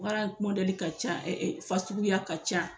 Baara mɔdɛli ka ca ɛ ɛ fasuguya ka ca